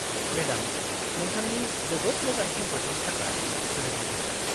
-Madam, नोंथांनि जोबोद मोजां खेंफोरथिनि थाखाय गोजोन्नाय थाबाय।